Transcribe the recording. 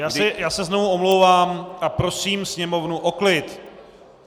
Já se znovu omlouvám a prosím sněmovnu o klid.